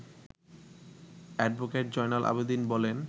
advocate Joynal Abedin বলেন